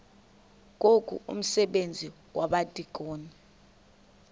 ngoku umsebenzi wabadikoni